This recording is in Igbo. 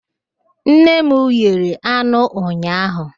Nne m ghere anụ ụnyaahụ.